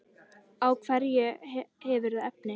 Á hverju hefurðu efni?